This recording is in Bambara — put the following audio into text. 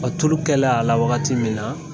tulukɛlen a la wagati min na